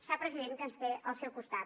sap president que ens té al seu costat